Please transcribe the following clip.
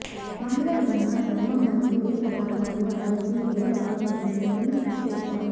మహిళలు ఉన్నా చర్మం మరియు ఏ పదార్థాలు అలెర్జీ ఏ రకం ఎంచుకొని చెపుతారు